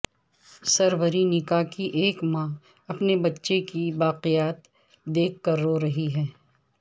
Srebrenica کی ایک ماں اپنے بچے کی باقیات دیکھ کر رو رہی ہیں